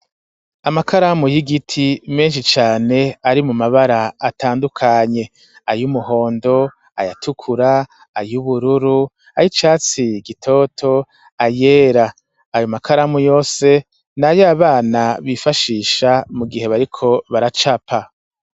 Amakaramu y'igiti menshi cane ari mu mabara atandukanye, ay'umuhondo, ay'atukura, ay'ubururu, ay'icatsi gitoto, ayera, ayo makaramu yose nayo abana bifashisha mu gihe bariko baracapa.